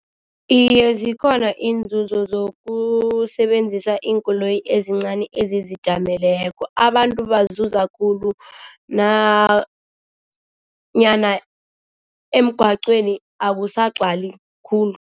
Iye, zikhona iinzuzo zokusebenzisa iinkoloyi ezincani ezizijameleko abantu bazuza khulu nanyana emgagcweni akusagcwali khulu.